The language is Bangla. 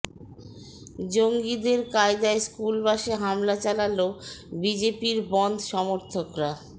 জঙ্গিদের কায়দায় স্কুল বাসে হামলা চালাল বিজেপির বনধ্ সমর্থকরা